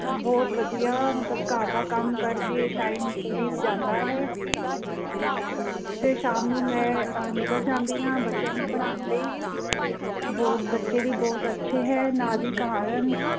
ਬਹੁਤ ਵਧੀਆ ਮਤਲਬ ਘਰ ਦਾ ਕੰਮ ਕਰਕੇ time ਬੀਤ ਜਾਂਦਾ ਹੈ। ਤੇ ਸ਼ਾਮ ਨੂੰ ਮੈਂ ਨਿਕਲ ਜਾਂਦੀ ਹਾਂ ਬੱਚਿਆਂ ਨੂੰ ਪੜ੍ਹਾਣ ਲਈ, ਬਹੁਤ ਬੱਚੇ ਵੀ ਬਹੁਤ ਅੱਛੇ ਦੇ ਕਾਰਨ